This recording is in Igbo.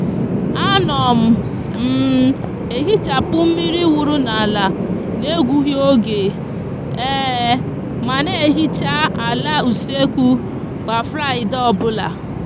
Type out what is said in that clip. a no m m ehichapu miri wuru n'ala n'egughi oge ma n'ehichi ala usekwu kwa fraide obula